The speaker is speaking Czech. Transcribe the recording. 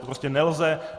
To prostě nelze.